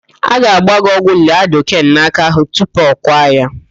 A ga-agba gị ọgwụ laịdoken n'áká ahụ tupu a kwaa ya.